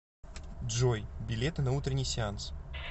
джой билеты на утренний сеанс